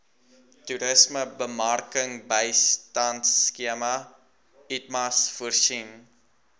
toerismebemarkingbystandskema itmas voorsien